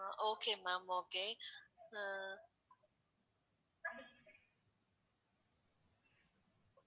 okay ma'am okay ah